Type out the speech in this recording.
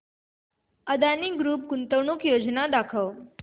Adani group गुंतवणूक योजना दाखव